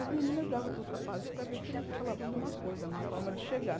As meninas davam para os rapazes para ver se eles falavam alguma coisa, uma forma de chegar.